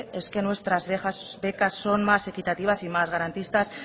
es que nuestras becas son más equitativas y más garantistas